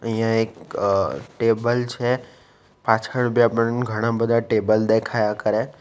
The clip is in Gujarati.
અઈયા એક ટેબલ છે પાછળ ઘણા બધા ટેબલ દેખાયા કરે --